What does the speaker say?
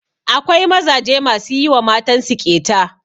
Akwai mazaje masu yi wa matan su ƙeta.